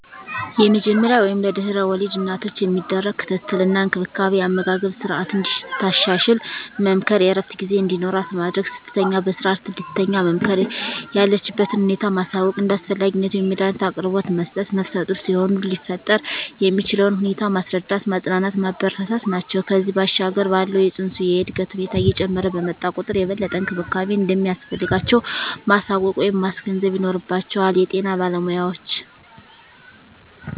የመጀመሪያ ወይም ለድሕረ ወሊድ እናቶች የሚደረግ ክትትል እና እንክብካቤ የአመጋገብ ስረዓትን እንድታሻሽል መምከር፣ የእረፍት ጊዜ እንዲኖራት ማድረግ፣ ስትተኛ በስረዓት እንድትተኛ መምከር፣ የለችበትን ሁኔታ ማሳወቅ፣ እንደ አስፈላጊነቱ የመዳኒት አቅርቦት መስጠት፣ ነፍሰጡር ሲሆኑ ሊፈጠር የሚችለውን ሁኔታ ማስረዳት፣ ማፅናናት፣ ማበረታታት ናቸው። ከዚያ ባሻገር ባለው የፅንሱ የእድገት ሁኔታ እየጨመረ በመጣ ቁጥር የበለጠ እንክብካቤ እንደሚያስፈልጋቸው ማሳወቅ ወይም ማስገንዘብ ይኖርባቸዋል የጤና ባለሞያዎች።